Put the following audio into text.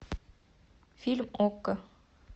фильм окко